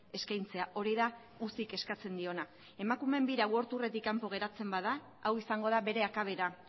eskaintzea hori da ucik eskatzen diona emakumeen bira worldtourretik kanpo geratzen bada hau izango da bere akabera